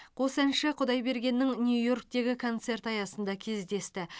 қос әнші құдайбергеннің нью йорктегі концерті аясында кездесті